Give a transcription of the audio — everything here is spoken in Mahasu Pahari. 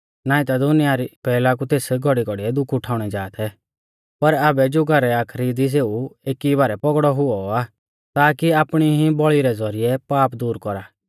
नाईं ता दुनिया री पैहला कु तेस घौड़ीघौड़िऐ दुख उठाउणौ जा थै पर आबै ज़ुगा रै आखरी दी सेऊ एकी ई बारै पौगड़ौ हुऔ आ ताकी आपणी ई बौल़ी रै ज़ौरिऐ पाप दूर कौरा